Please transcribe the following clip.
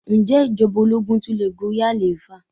Ǹjẹ́ ìjọba ológun tun le gorí àlééfà?